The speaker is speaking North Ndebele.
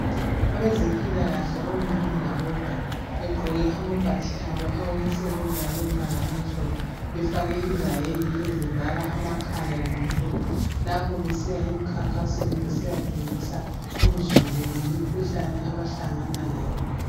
Abezempilakahle omama labobaba begqoke amabhatshi abo awokusebenza alombala omhlophe befake izayeki ezivala amakhala lemilomo lapho besiya emkhankasweni besiya fundisa uzulu ngemkhuhlane abahlangana layo.